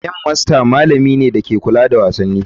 Game master malami ne mai kula da wasanni.